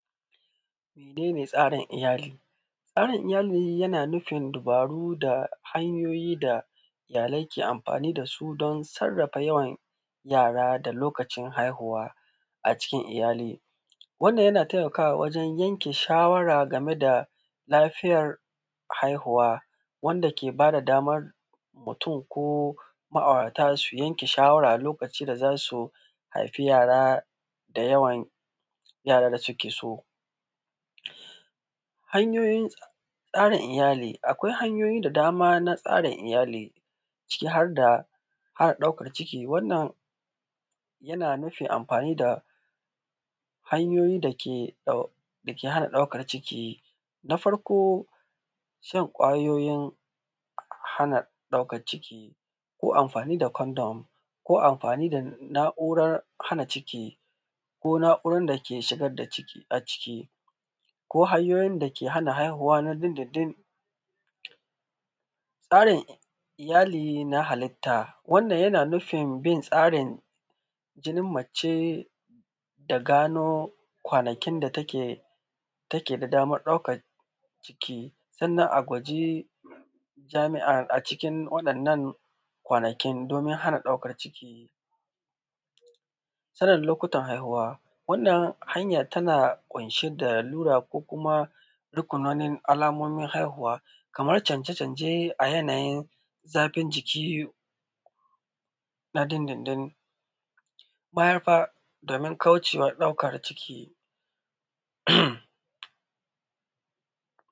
Mene ne tsarin iyali? Tsarin iyali dai yana nufin dubaru da hanyoyi da suke amfani da su don sarrafa yawan yara da yawan haihuwa a cikin iyali, wannan yana taimakawa don yanke shawara game da haihuwa, wanda ke bada daman mutum ko ma’aurata suke yanke shawarar lokacin da za su haifa yara da yawan yaran da suke so. Hanyoyin tsara iyali, akwai hanyoyi da daman na tsara iyali ciki har da ɗaukan ciki, wannan yana nufin amfani da hanyoyi dake hana ɗaukan ciki. Na farko, shan ƙwayoyin hana ɗaukan ciki ko amfani da kondom ko amfani da na’urar hana ɗaukan ciki ko na’urar dake saka ciki a ciki ko hanyoyin dake hana ɗaukan ciki na din-din-din. Tsarin iyali ya hallata, wannan na nufin bin tsarin jinin mace da gano kwanakin da take da daman ɗaukan ciki, sannan a guje wa jimi’i a cikin waɗannan kwanakin domin hana ɗaukan ciki. Sanin lokutan haihuwa, wannan hanya tana ƙunshe da lallura ko kuma alamomin haihuwa kaman cajecanje a yanayin zafin jiki na din-din-din, bayan nan domin kauce wa ɗaukan ciki.